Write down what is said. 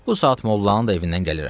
Bu saat mollanın da evindən gəlirəm.